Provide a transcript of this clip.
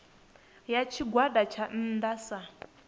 ya tshigwada tsha nnda sa